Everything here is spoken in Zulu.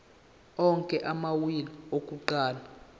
onke amawili akuqala